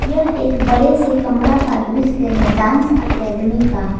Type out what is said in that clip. यह एक बड़े से कमरा का दृश्य है डांस एकेडमी का।